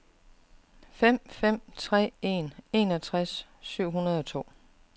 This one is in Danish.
fem fem tre en enogtres syv hundrede og to